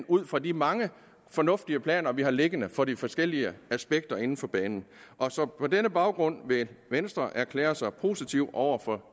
ud fra de mange fornuftige planer vi har liggende for de forskellige aspekter inden for banen og på denne baggrund vil venstre erklære sig positiv over for